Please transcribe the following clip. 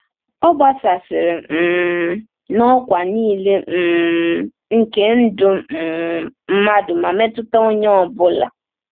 Ọ gbasasịrị um n’ọkwa niile um nke ndụ um mmadụ ma metụta onye ọ bụla.